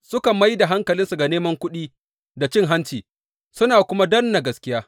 Suka mai da hankalinsu ga neman kuɗi da cin hanci, suna kuma danne gaskiya.